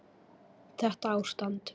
Þetta ástand?